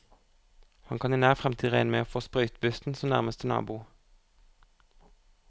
Han kan i nær fremtid regne med å få sprøytebussen som nærmeste nabo.